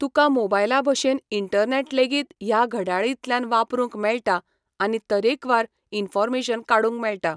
तुका मोबायला भाशेन इंटर्नेट लेगीत ह्या घड्याळींतल्यान वापरूंक मेळटा आनी तरेकवार इन्फोर्मेशन काडूंक मेळटा.